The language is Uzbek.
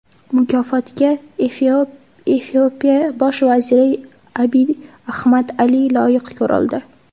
Mukofotga Efiopiya bosh vaziri Abiy Ahmad Ali loyiq ko‘rildi.